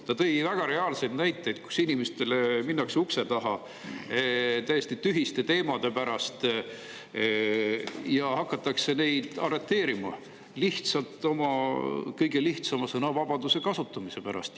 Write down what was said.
Ta tõi väga reaalseid näiteid: inimestele minnakse ukse taha täiesti tühiste teemade pärast ja hakatakse neid arreteerima lihtsalt kõige sõnavabaduse kasutamise pärast.